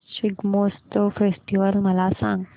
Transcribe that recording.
Shigmotsav festival मला सांग